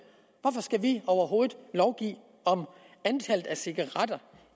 hvorfor skal vi overhovedet lovgive om antallet af cigaretter